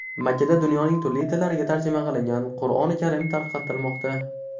Makkada dunyoning turli tillariga tarjima qilingan Qur’oni karim tarqatilmoqda.